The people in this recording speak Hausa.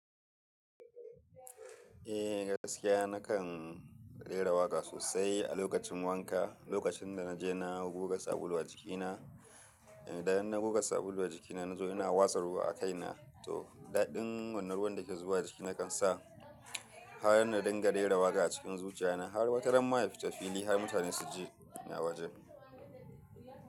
Eh gaskiya nakan rera waƙa sosai a lokacin wanka, lokacin da na je na guga sabulu a jikina, idan na guga sabulu a jikina na zo ina wasa ruwa a kaina, to daɗin wannan ruwan da ke zuwa jiki nakan sa har na dinga rera waƙa a cikin zuciya na har wata ramma ya fita fili har mutane su ji ina wajen.